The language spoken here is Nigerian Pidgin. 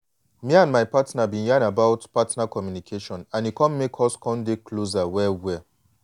me and my partner been yan about partner communication and e come make us come dey closer well well.